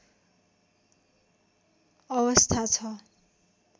अवस्था छ